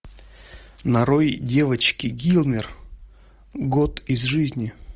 нарой девочки гилмор год из жизни